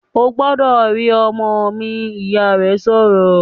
"Ó gbọ́dọ̀ rí ọmọ mi!", Ìyá rẹ̀ sọ̀rọ̀